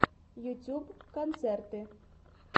ютьюб концерты